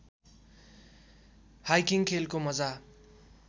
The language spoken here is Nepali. हाइकिङ खेलको मजा